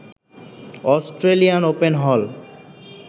Australian Open হল